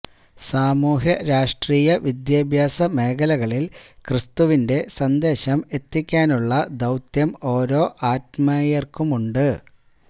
സാമൂഹ്യ രാഷ്ട്രീയ വിദ്യാഭ്യാസ മേഖലകളില് ക്രിസ്തുവിന്റെ സന്ദേശം എത്തിക്കുവാനുള്ള ദൌത്യം ഓരോ അത്മായര്ക്കുമുണ്ട്